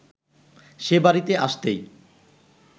সে বাড়িতে আসতেই